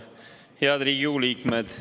Head Riigikogu liikmed!